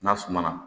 N'a suma na